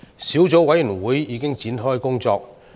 小組委員會已展開工作。